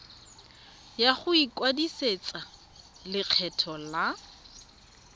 ya go ikwadisetsa lekgetho la